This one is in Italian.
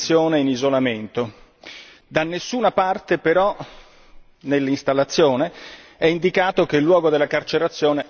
Da nessuna parte però, nell'installazione, è indicato che il luogo della carcerazione è la Repubblica popolare cinese.